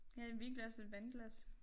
Ja et vinglas et vandglas